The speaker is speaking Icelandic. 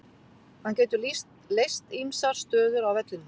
Hann getur leyst ýmsar stöður á vellinum.